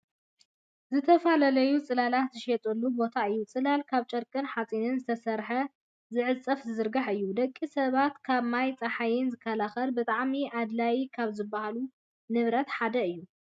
ዝተፈላለዩ ፅላላት ዝሽየጠሉ ቦታ እዩ። ፅላል ካብ ጨርቅን ሓፂንን ዝስራሕ ዝዕፀፍን ዝዝርጋሕን እዩ። ደቂ ሰባት ካብ ማይን ፃሓይን ዝከላከል ብጣዕሚ ኣድላይ ካብ ዝባሃሉ ንብረት ሓደ እዩ።